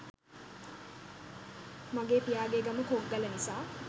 මගේ පියාගේ ගම කොග්ගල නිසා